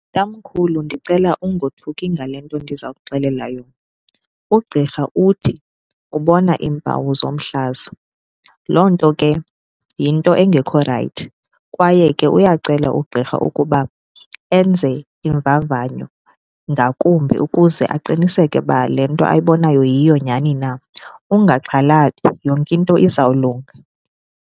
Tamkhulu, ndicela ungothuki ngale nto ndiza kuxelela yona. Ugqirha uthi ubona iimpawu zomhlaza, loo nto ke yinto engekho rayithi kwaye ke uyacela ugqirha ukuba enze iimvavanyo ngakumbi ukuze aqiniseke uba le nto ayibonayo yiyo nyani na. Ungaxhalabi yonke into izawulunga.